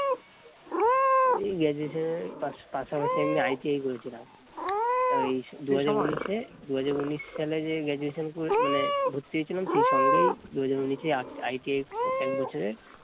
এই graduation এর পাশাপাশি আমি ITI করেছিলাম। তা এই দুই হাজার উনিশে দুই হাজার উনিশ সালে যে graduation মানে ভর্তি হয়েছিলাম সেই সঙ্গেই দুই হাজার উনিশ এই I ITI এক বছরের